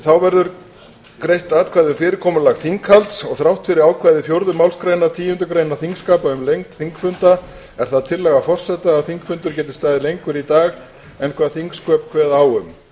þá verða greidd atkvæði um fyrirkomulag þinghalds og þrátt fyrir ákvæði fjórðu málsgreinar tíundu greinar þingskapa um lengd þingfunda er það tillaga forseta að þingfundur geti staðið lengur í dag en hvað þingsköp kveða á um